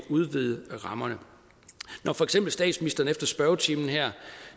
udvide rammerne når for eksempel statsministeren efter spørgetimen her